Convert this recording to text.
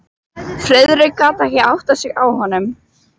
Friðrik gat ekki áttað sig á honum.